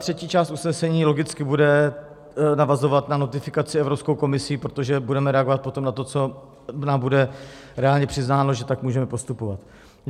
Třetí část usnesení logicky bude navazovat na notifikaci Evropskou komisí, protože budeme reagovat potom na to, co nám bude reálně přiznáno, že tak můžeme postupovat.